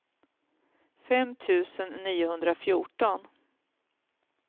fem tusen niohundrafjorton